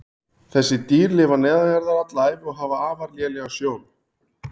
Þessi dýr lifa neðanjarðar alla ævi og hafa afar lélega sjón.